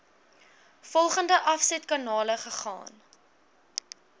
volgende afsetkanale gegaan